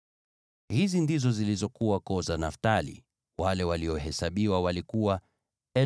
Hizi ndizo zilizokuwa koo za Naftali; wale waliohesabiwa walikuwa 45,400.